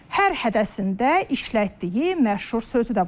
Hər hədəsində işlətdiyi məşhur sözü də var.